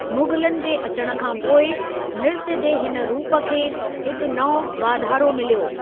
मुग़लनि जे अचण खां पोइ, नृत्‍य जे हिन रूप खे हिकु नओ वाधारो मिलियो।